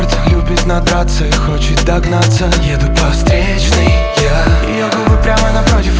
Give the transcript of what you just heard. операция хочешь догнаться еду по встречной я бы прямо